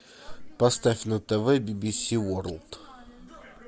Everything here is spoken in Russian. поставь на тв би би си ворлд